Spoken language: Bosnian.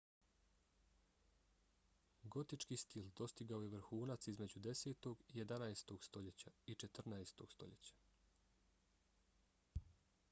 gotički stil dostigao je vrhunac između 10. i 11. stoljeća i 14. stoljeća